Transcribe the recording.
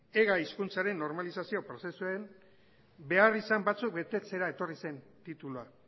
ega hizkuntzaren normalizazio prozesuan beharrizan batzuk betetzera etorri zen titulua